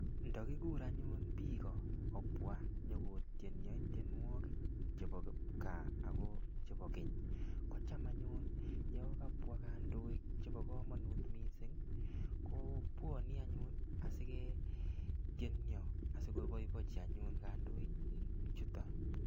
Ndakikur anyun biiko kobwa nyikotien tienyo tienwogik chebo kipkaa ako chebo keny, kocham anyun yakabwa kandoik chebo komonut missing, kobwane anyun asiketieno asikoboibochi anyun kandoik chuton.